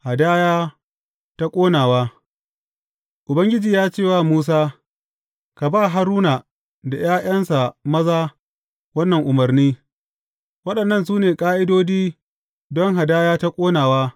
Hadaya ta ƙonawa Ubangiji ya ce wa Musa, Ka ba Haruna da ’ya’yansa maza wannan umarni, Waɗannan su ne ƙa’idodi don hadaya ta ƙonawa.